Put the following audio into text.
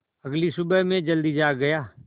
अगली सुबह मैं जल्दी जाग गया